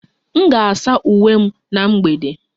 M ga-asa uwe m na mgbede